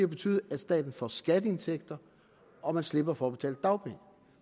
betyde at staten får skatteindtægter og man slipper for at betale dagpenge